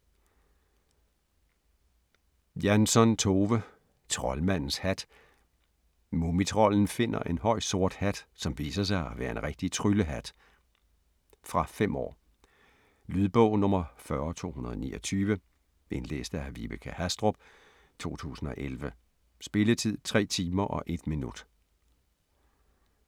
Jansson, Tove: Troldmandens hat Mumitrolden finder en høj, sort hat, som viser sig at være en rigtig tryllehat. Fra 5 år. Lydbog 40229 Indlæst af Vibeke Hastrup, 2011. Spilletid: 3 timer, 1 minut.